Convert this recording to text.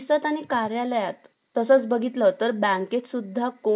तसाच बघितलं तर bank त सुद्धा कोण येत कोण जात